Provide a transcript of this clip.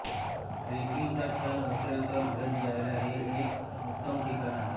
trekking चा छंद असेल तर भेट द्यायला हे एक उत्तम ठिकाण आहे